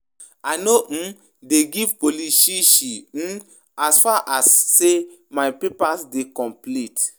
I no um dey give police shi shi um as far as sey my papers dey complete.